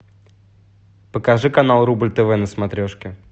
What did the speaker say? покажи канал рубль тв на смотрешке